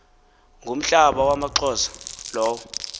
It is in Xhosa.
ngumhlaba wamaxhosa lowo